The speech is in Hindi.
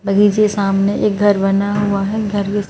बगीचे के सामने एक घर बना हुआ है घर के--